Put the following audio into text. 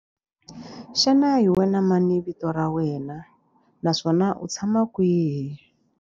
Xana hi wena mani vito ra wena naswona u tshama kwihi?